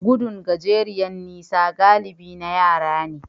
Gudun gajeriyar nisa galibi na yara ne.